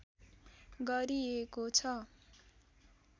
गरिएको छ।